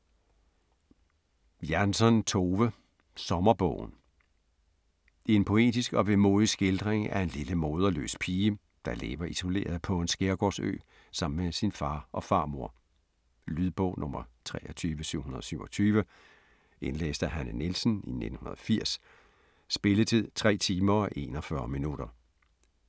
Jansson, Tove: Sommerbogen En poetisk og vemodig skildring af en lille moderløs pige, der lever isoleret på en skærgårdsø sammen med sin far og farmor. Lydbog 23727 Indlæst af Hanne Nielsen, 1980. Spilletid: 3 timer, 41 minutter.